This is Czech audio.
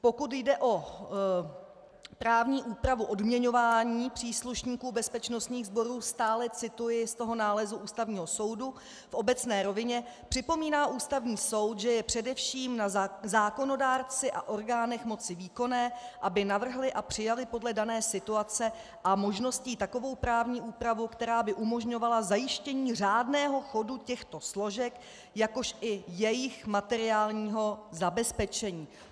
Pokud jde o právní úpravu odměňování příslušníků bezpečnostních sborů - stále cituji z toho nálezu Ústavního soudu v obecné rovině - připomíná Ústavní soud, že je především na zákonodárci a orgánech moci výkonné, aby navrhli a přijali podle dané situace a možností takovou právní úpravu, která by umožňovala zajištění řádného chodu těchto složek, jakož i jejich materiálního zabezpečení.